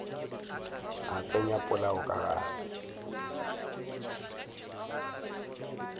a tsenya polao ka gare